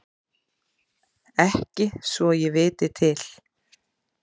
Ekki svo ég viti til.